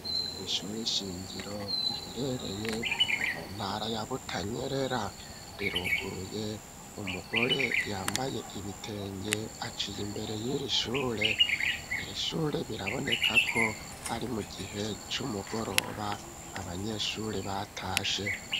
Ishure nshingiro riherereye mu ntara ya Butanyerera riruguruye. Umugore yambaye ibitenge aciye imbere y'iri shure. Iri shure biraboneka ko ari mu gihe c'umugoroba abanyeshuri batashe.